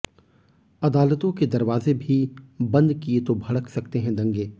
अदालतों के दरवाजे भी बंद किये तो भड़क सकते हैं दंगे